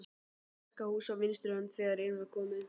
Vaskahús á vinstri hönd þegar inn var komið.